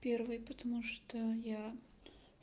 первые потому что я